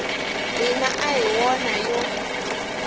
hina a hi wona yo